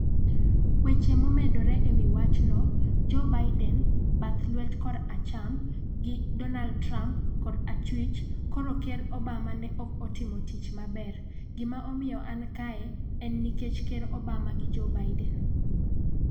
weche momedore e wi wachno. Joe Biden (bath lwet koracham) gi Donald Trump (kora chwich) ' koro Ker Obama ne ok otimo tich maber, gima omiyo an kae en nikech Ker Obama gi Joe Biden."